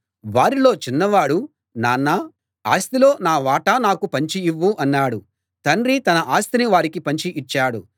వారిలో చిన్నవాడు నాన్నా ఆస్తిలో నా వాటా నాకు పంచి ఇవ్వు అన్నాడు తండ్రి తన ఆస్తిని వారికి పంచి ఇచ్చాడు